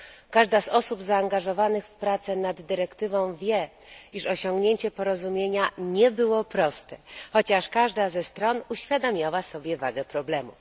Każda z osób zaangażowanych w pracę nad dyrektywą wie, iż osiągnięcie porozumienia nie było proste, chociaż każda ze stron uświadamiała sobie wagę problemu.